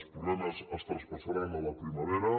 els problemes es traspassaran a la primavera